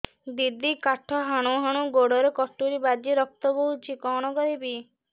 ଦିଦି କାଠ ହାଣୁ ହାଣୁ ଗୋଡରେ କଟୁରୀ ବାଜି ରକ୍ତ ବୋହୁଛି କଣ କରିବି